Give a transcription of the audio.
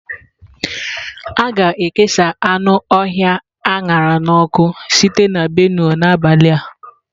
A ga-ekesa anụ ọhịa a ṅara n'ọkụ sitere na Benue n'abalị a.